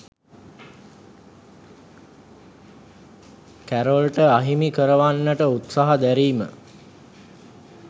කැරොල්ට අහිමි කරවන්නට උත්සහ දැරීම